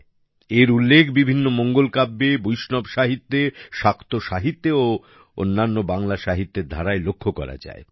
এটার উল্লেখ বিভিন্ন মঙ্গল কাব্যে বৈষ্ণব সাহিত্যে শাক্ত সাহিত্যে ও অন্যান্য বাংলা সাহিত্যের ধারায় লক্ষ্য করা যায়